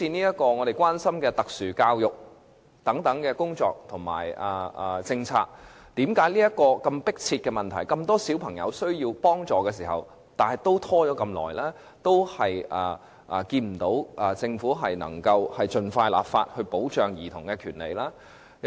又像我們關心的特殊教育工作及政策，為甚麼問題這麼迫切，而且這麼多小朋友需要幫助，但仍然照樣拖延，看不到政府盡快立法保障兒童的權利。